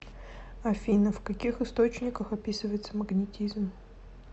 афина в каких источниках описывается магнетизм